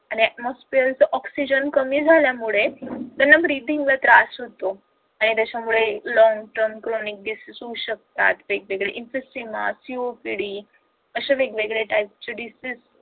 आणि atmosphere च्या oxygen कमी झाल्यामुळे breathing ला त्रास होतो आणि त्याच्यामुळे long term chronic diseases होऊ शकतात वेगवेगळे COPD अशा वेगवेगळ्या TYPE चे desease